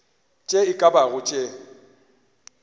tše e ka bago tše